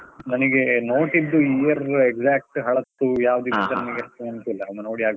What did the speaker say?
ನನಿಗೆ ನೋಟಿದ್ದು year exact ಹಳತ್ತು ಯಾವ್ದು ನೆನಪಿಲ್ಲ, ಒಂದು ನೋಡಿ ಆಗ್ಬೇಕು.